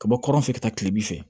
Ka bɔ kɔrɔn fɛ ka taa kilebi fɛ